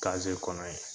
kɔnɔ in